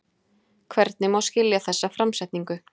Hvernig má skilja þessa framsetningu?